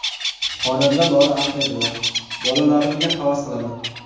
Xonanda Lola Ahmedova: Bolalarimga havas qilaman.